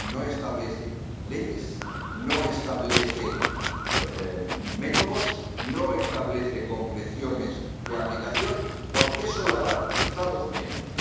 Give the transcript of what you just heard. No establece leyes, no establece métodos, no establece concreciones de aplicación, porque eso lo harán los Estados miembros.